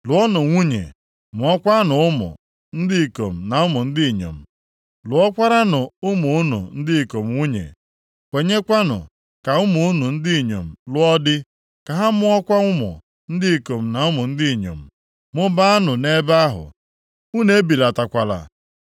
lụọnụ nwunye, mụọkwanụ ụmụ ndị ikom na ụmụ ndị inyom; lụọkwaranụ ụmụ unu ndị ikom nwunye, kwenyekwanụ ka ụmụ unu ndị inyom lụọ di, ka ha mụọkwa ụmụ ndị ikom na ụmụ ndị inyom. Mụbaanụ nʼebe ahụ, unu ebilatakwala.